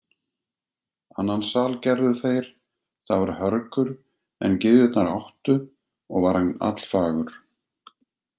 Annan sal gerðu þeir, það var hörgur en gyðjurnar áttu, og var hann allfagur.